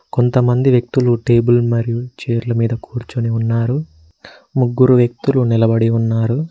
కొంతమంది వ్యక్తులు టేబుల్ మరియు చైర్ మీద కూర్చొని ఉన్నారు ముగ్గురు వ్యక్తులు నిలబడి ఉన్నారు.